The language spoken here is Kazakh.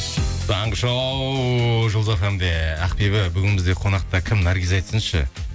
таңғы шоу жұлдыз фм де ақбибі бүгін бізде қонақта кім наргиз айтсыншы